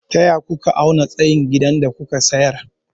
Taya aka auna tsayin gidan da kuka sayar?